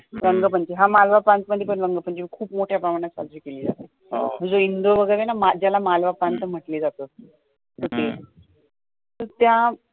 रंग पंचमी हा मालवा प्रांत मध्ये पण रंग पंचमी खूप मोठ्या प्रमाणात साजरी केल्या जाते म्हणजे इंदोर वगैरे आहे न ज्याला मालवा प्रांत म्हटल्या जातं तर त्या